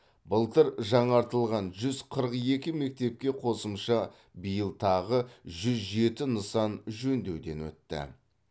былтыр жаңартылған жүз қырық екі мектепке қосымша биыл тағы жүз жеті нысан жөндеуден өтті